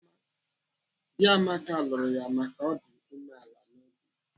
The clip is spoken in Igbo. Dị Amaka lụrụ ya maka na ọ dị umeala n'obi.